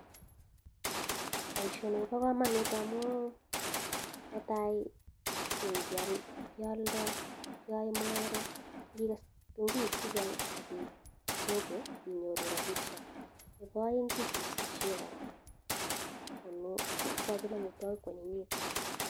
Paishonk kopa kamanut amuu nee taii keae mungaret ngikes kitunguik chechang akiip sokoo inyoruu rapishiek nepo aeng kesusie koraa amuu ikachin amitwakik kwanyinyituu